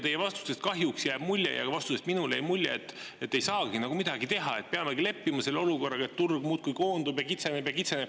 Teie vastustest kahjuks jääb mulje ja vastusest minule jäi mulje, et ei saagi nagu midagi teha, et peamegi leppima selle olukorraga, et turg muudkui koondub ja kitseneb ja kitseneb.